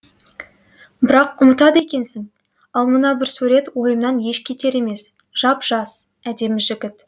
бірақ ұмытады екенсің ал мына бір сурет ойымнан еш кетер емес жап жас әдемі жігіт